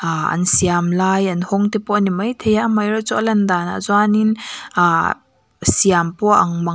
ah an siamlai an hawng te pawh ani maithei a amaherawhchu a lan danah chuanin ah siam pawh a ang mang--